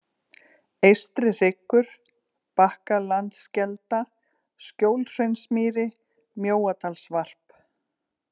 Eystri-Hryggur, Bakkalandskelda, Skjólhraunsmýri, Mjóadalsvarp